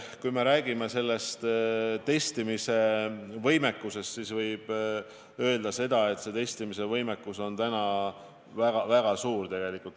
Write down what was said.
Kui me räägime testimisvõimekusest, siis võib öelda, et see võimekus on täna väga suur.